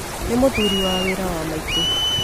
Nĩ mũthuri wa mwarĩ wa maitũ.